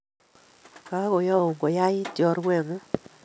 Kagoyaun konyait chorwengung